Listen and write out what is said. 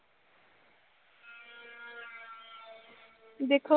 ਦੇਖੋ